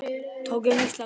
Tökum Ísland fyrst.